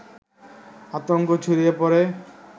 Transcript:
আতঙ্ক ছড়িয়ে পড়ে